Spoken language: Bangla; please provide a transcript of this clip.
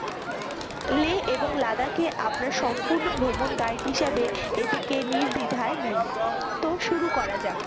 লে এবং লাদাকে আপনার সম্পূর্ণ ভ্রমণ guide হিসেবে এটিকে নির্দ্বিধায় নিন। তো শুরু করা যাক।